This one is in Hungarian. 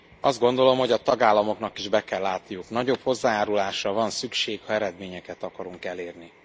Azt gondolom, hogy a tagállamoknak is be kell látniuk nagyobb hozzájárulásra van szükség, ha eredményeket akarunk elérni.